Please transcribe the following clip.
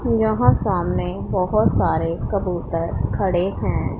यहां सामने बहोत सारे कबूतर खड़े हैं।